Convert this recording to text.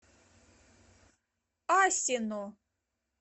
асино